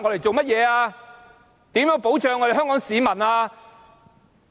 怎樣保障香港市民？